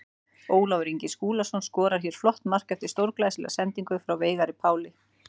Ólafur Ingi Skúlason skorar hér flott mark eftir stórglæsilega sendingu frá Veigari Páli.